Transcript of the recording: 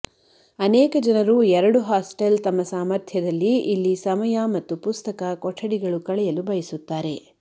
ಅನೇಕ ಜನರು ಎರಡು ಹಾಸ್ಟೆಲ್ ತಮ್ಮ ಸಾಮರ್ಥ್ಯದಲ್ಲಿ ಇಲ್ಲಿ ಸಮಯ ಮತ್ತು ಪುಸ್ತಕ ಕೊಠಡಿಗಳು ಕಳೆಯಲು ಬಯಸುತ್ತಾರೆ